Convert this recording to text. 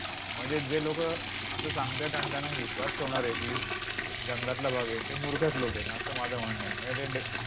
म्हणजे जे लोकं असं सांगतायत आणि त्यांना विश्वास ठेवणारे आहे की, जंगलातला भाग आहे, ते मूर्खच लोक आहेत असं माझं म्हणणं आहे. म्हणजे ते ड